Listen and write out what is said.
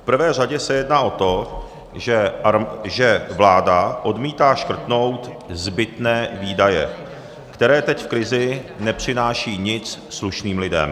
V prvé řadě se jedná o to, že vláda odmítá škrtnout zbytné výdaje, které teď v krizi nepřinášejí nic slušným lidem.